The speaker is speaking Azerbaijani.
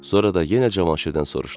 Sonra da yenə Cavanşirdən soruşdu.